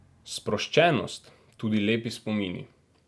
Sproščenost, tudi lepi spomini.